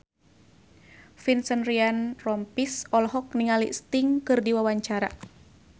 Vincent Ryan Rompies olohok ningali Sting keur diwawancara